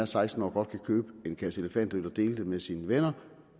seksten årig godt kan købe en kasse elefantøl og dele den med sine venner